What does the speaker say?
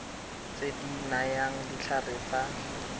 tse di nayang ditlhare tsa